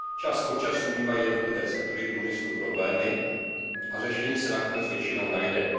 Čas od času mívají jednotlivé sektory průmyslu problémy a řešení se nakonec většinou najde.